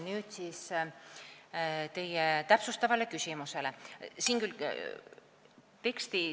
Nüüd teie täpsustava küsimuse juurde.